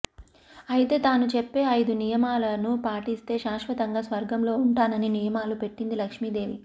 అయితే తాను చెప్పే ఐదు నియమాలను పాటిస్తే శాశ్వతంగా స్వర్గంలో ఉంటానని నియమాలు పెట్టింది లక్ష్మీదేవి